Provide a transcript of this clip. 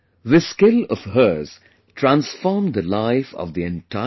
This skill of hers transformed the life of the entire family